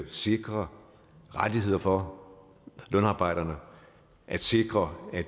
sikre rettigheder for lønarbejderne at sikre at